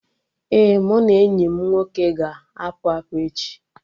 Ee, mụ na enyi m nwoke ga-apụ apụ echi